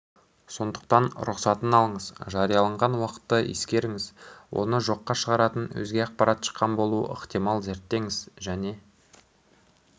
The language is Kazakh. сондықтан рұқсатын алыңыз жарияланған уақытты ескеріңіз оны жоққа шығаратын өзге ақпарат шыққан болуы ықтимал зерттеңіз және